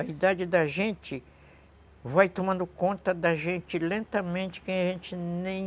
A idade da gente vai tomando conta da gente lentamente que a gente nem